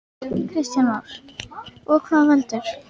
Kristján Már: Og hvað veldur?